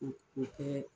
U u kɛ